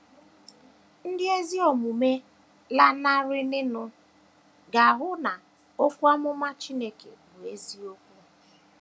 Ndị ezi omume lanarịrịnụ ga - ahụ na okwu amụma Chineke bụ eziokwu.